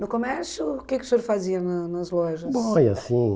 No comércio, o que que o senhor fazia na nas lojas? Bom,